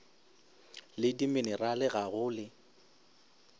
le dimenerale ga go le